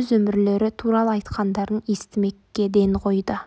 өз өмірлері туралы айтқандарын естімекке ден қойды